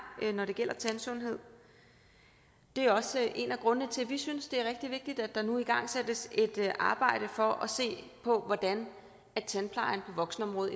når det gælder tandsundhed det er også en af grundene til at vi synes det er rigtig vigtigt at der nu igangsættes et arbejde for at se på hvordan tandplejen på voksenområdet